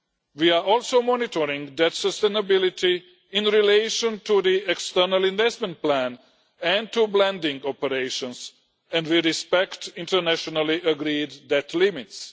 We are also monitoring debt sustainability in relation to the external investment plan and to blending operations, and we respect internationally agreed debt limits.